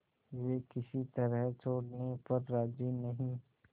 वे किसी तरह छोड़ने पर राजी नहीं